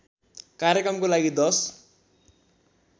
कार्यक्रमको लागि १०